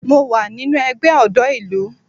Mo wà nínú ẹgbẹ́ ọ̀dọ́ ìlú